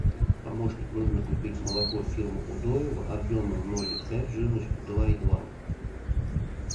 помощник нужно купить молоко фирмы удоево объемом ноль пять жирностью два и два